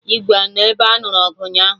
Igwe anọ na ebe anụrụ ọgụ ụnyaahụ?